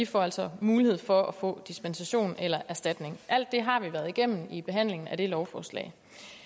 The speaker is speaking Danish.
får altså mulighed for at få dispensation eller erstatning alt det har vi været igennem i behandlingen af det lovforslag